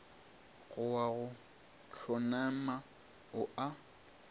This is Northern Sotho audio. go wa go hlonama o